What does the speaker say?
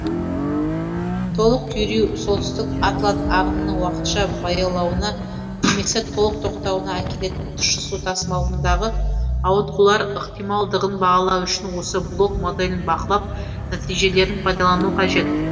толық күйреу солтүстік атлант ағынының уақытша баяулауына немесе толық тоқтауына әкелетін тұщы су тасымалындағы ауытқулар ықтималдығын бағалау үшін осы блок моделін бақылап нәтижелерін пайдалану қажет